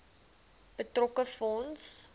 betrokke fonds